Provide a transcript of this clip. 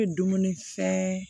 I bɛ dumuni fɛn